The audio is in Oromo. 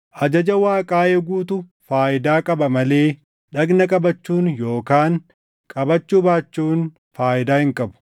Ajaja Waaqaa eeguutu faayidaa qaba malee dhagna qabachuun yookaan qabachuu baachuun faayidaa hin qabu.